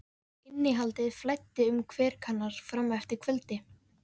Innihaldið flæddi um kverkarnar fram eftir kvöldi.